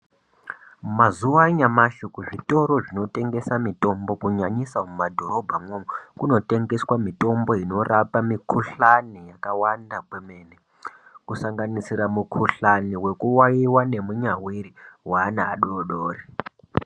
Mazuva anyamashi ku zvitoro zvino tengesa mitombo ku nyanyisa mu madhorobha mwo umu kuno tengeswa mitombo inorapa mi kuhlani yakawanda kwemene ku sanganisira mu kuhlani weku wawiwa ne munyaviri we ana adodori.